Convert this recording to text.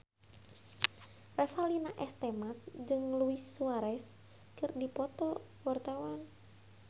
Revalina S. Temat jeung Luis Suarez keur dipoto ku wartawan